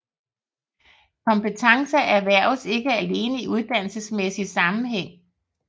Kompetencer erhverves ikke alene i uddannelsesmæssig sammenhæng